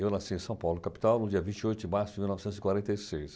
Eu nasci em São Paulo, capital, no dia vinte oito de março de mil novecentos e quarenta e seis